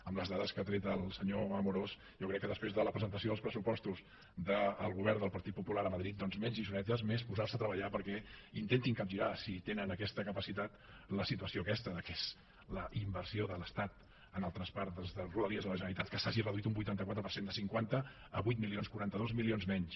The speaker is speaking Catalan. amb les dades que ha tret el senyor amorós jo crec que després de la presentació dels pressupostos del govern del partit popular a madrid doncs menys lliçonetes més posar se a treballar perquè intentin capgirar si tenen aquesta capacitat la situació aquesta que és la inversió de l’estat en el traspàs de rodalies a la generalitat que s’hagi reduït un vuitanta quatre per cent de cinquanta a vuit milions quaranta dos milions menys